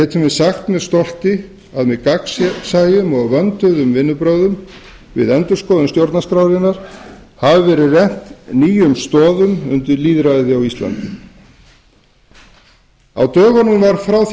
við sagt með stolti að með gagnsæjum og vönduðum vinnuaðferðum við endurskoðun stjórnarskrárinnar hafi verið rennt nýjum stoðum undir lýðræði á íslandi á dögunum var frá því